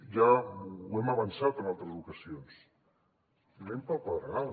ja ho hem avançat en altres ocasions anem pel pedregar